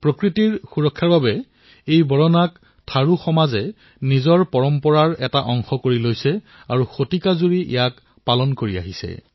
প্ৰকৃতিৰ ৰক্ষাৰ বাবে বৰনাক থাৰু সমাজৰ লোকে নিজৰ পৰম্পৰাৰ অংশ কৰি লৈছে আৰু ইয়াক শতিকাজুৰি পালন কৰি আহিছে